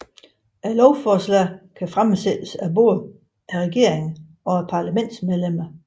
Lovforslag kan fremsættes af både regeringen og parlamentsmedlemmer